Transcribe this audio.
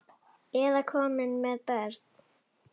Eða komin með börn?